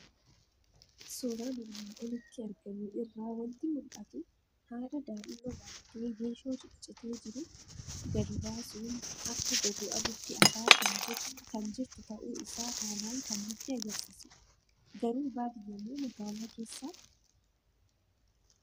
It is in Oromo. Suuraa armaan olitti argamu irraa waanti mul'atu; Haadha daa'imma baattee Geeshoo ciccite jiru gadi baasuun akka gogu aduutti afaa kan jirtu ta'uu isaa haalan kan nutti agarsiisudha. Garuu baadiyamoo magaala keessaa?